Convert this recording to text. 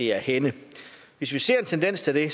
er henne hvis vi ser en tendens til det